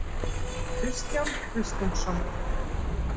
Kristján Kristinsson.